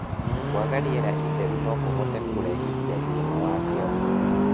Kwaga rĩera itheru nokũhote kũrehithia thĩna wa kĩongo